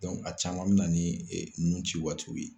a caman mi na ni nunci waatiw ye.